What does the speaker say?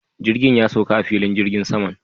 Jirgin ya sauka a filin jirgin saman